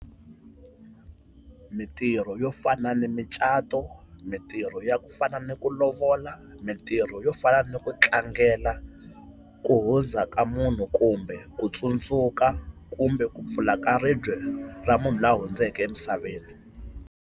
Mitirho yo fana ni micato, mintirho ya ku fana ni ku lovola, mintirho yo fana ni ku tlangela ku hundza ka munhu kumbe ku tsundzuka kumbe ku pfula ka ribye ra munhu la hundzeke emisaveni.